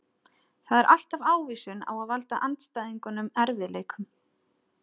Það er alltaf ávísun á að valda andstæðingunum erfiðleikum.